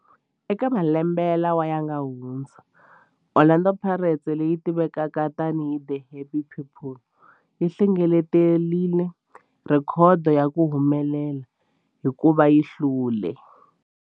Eka malembe lawa yanga hundza, Orlando Pirates, leyi tivekaka tani hi 'The Happy People', yi hlengeletile rhekhodo ya ku humelela hikuva yi hlule.